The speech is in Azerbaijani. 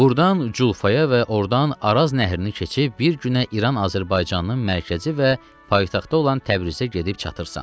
Buradan Culfaya və ordan Araz nəhrini keçib bir günə İran Azərbaycanının mərkəzi və paytaxtı olan Təbrizə gedib çatırsan.